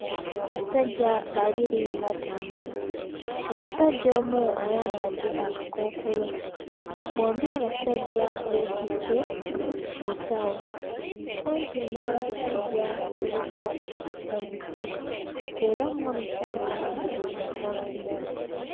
Basajja babiri batambula omusajja omu ayambadde akakookolo bombi abasajja beetisse ensawo kumpi n'abasajja kuliko omuti era mu omusajja ayambadde enkoofiira.